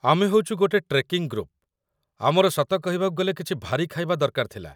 ଆମେ ହଉଚୁ ଗୋଟେ ଟ୍ରେକିଂ ଗ୍ରୁପ୍, ଆମର ସତ କହିବାକୁ ଗଲେ କିଛି ଭାରି ଖାଇବା ଦରକାର ଥିଲା ।